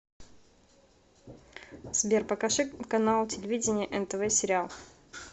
сбер покажи канал телевидения нтв сериал